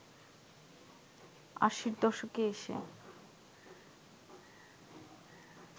আশির দশকে এসে